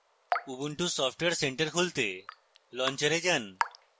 ubuntu software center খুলতে launcher এ যান